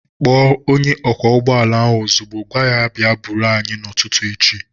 Kpọọ onye ọkwọ ụgbọala ahu ozigbo! Gwaa ya ka ọ bịa buuru anyị n'ụtụtụ echi